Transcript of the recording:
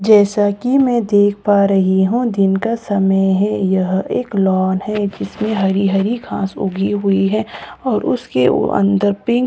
जैसा कि मैं देख पा रही हूं दिन का समय है यह एक लॉन है जिसमें हरी हरी घास उगी हुई है और उसके उ अंदर पिंक और वा --